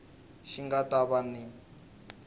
xi nga ta va hi